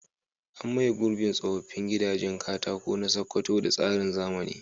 An maye gurbin tsoffin gidajen katako na Sakkwato da tsarin zamani.